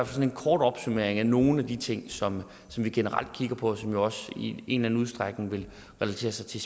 fald en kort opsummering af nogle af de ting som vi generelt kigger på og som jo også i en eller anden udstrækning relaterer sig til